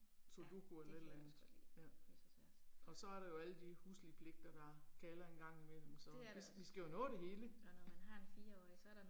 Sudoku eller et eller andet, ja. Og så er der jo alle de huslige pligter der kalder en gang i mellem, så vi vi skal jo nå det hele